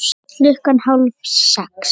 Klukkan hálf sex